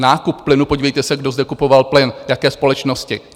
Nákup plynu - podívejte se, kdo zde kupoval plyn, jaké společnosti.